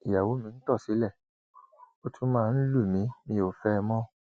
ìyàwó mi ń tọ sílé ó tún máa ń lù mí mi ò fẹ ẹ mọ